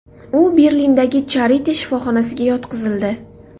U Berlindagi Charite shifoxonasiga yotqizildi.